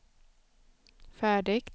färdigt